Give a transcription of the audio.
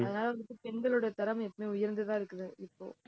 அதனால வந்துட்டு, பெண்களோட திறமை எப்பவுமே உயர்ந்துதான் இருக்குது இப்போ